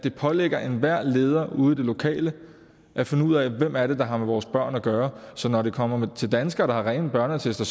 er pålagt enhver leder ude i det lokale at finde ud af hvem det er der har med vores børn at gøre så når det kommer til danskere der har rene børneattester